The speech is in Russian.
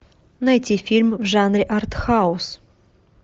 найти фильм в жанре артхаус